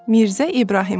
Mirzə İbrahimov.